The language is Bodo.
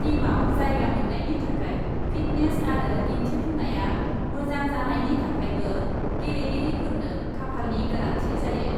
टीमआव जायगा मोन्नायनि थाखाय फिटनेस आरो दिन्थिफुंनाया मोजां जानायनि थाखायबो गेलेगिरिफोरनो खाफालनि गोनांथि जायो ।